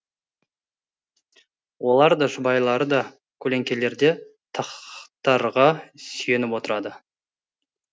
олар да жұбайлары да көлеңкелерде тахтарға сүйеніп отырады